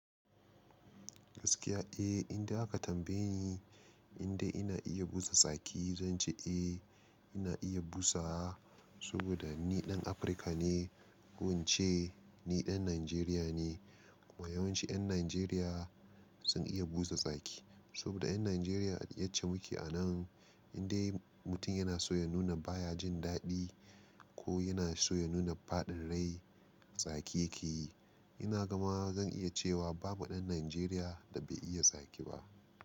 Gaskiya eh, indai aka tambaye ni indai ina iya busa tsaki, zan ce eh ina iya busawa saboda ni Dan Africa ne. Wance ni Dan Nigeria ne kuma yawanci Yan Nigeria sun iya busa tsaki saboda Yan Nigeria yacce muke a nan indai mutum yana so ya nuna baya jin dadi ko yana so ya nuna fadin rai tsaki yake yi. Ina gama zan iya cewa babu Dan Nigeria da bai iya tsaki ba.